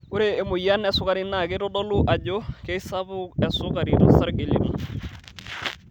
Ore emoyian esukari naa keitodolu ajo keisapuk esukari tosarge lino.